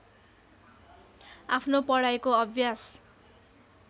आफ्नो पढाइको अभ्यास